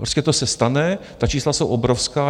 Prostě to se stane, ta čísla jsou obrovská.